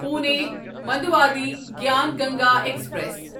Pune Manduadih Gyan Ganga express